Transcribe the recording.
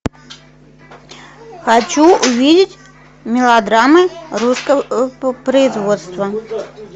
хочу увидеть мелодрамы русского производства